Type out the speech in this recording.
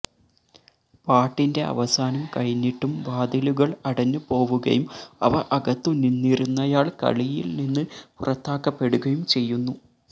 പാട്ടിന്റെ അവസാനം കഴിഞ്ഞിട്ടും വാതിലുകൾ അടഞ്ഞുപോവുകയും അവ അകത്തു നിന്നിരുന്നയാൾ കളിയിൽ നിന്ന് പുറത്താക്കപ്പെടുകയും ചെയ്യുന്നു